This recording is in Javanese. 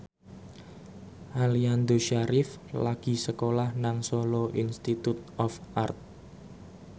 Aliando Syarif lagi sekolah nang Solo Institute of Art